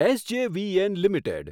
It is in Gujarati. SJVN limited